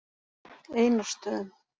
Einarsstöðum